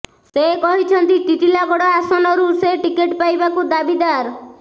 ସେ କହିଛନ୍ତି ଟିଟିଲାଗଡ଼ ଆସନରୁ ସେ ଟିକଟ ପାଇବାକୁ ଦାବିଦାର